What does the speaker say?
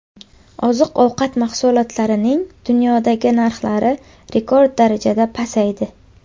Oziq-ovqat mahsulotlarining dunyodagi narxlari rekord darajada pasaydi.